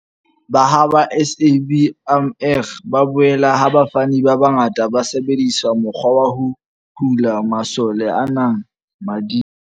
Ba ha SABMR ba bolela ha bafani ba bangata ba sebedisa mokgwa wa ho hula masole ana mading.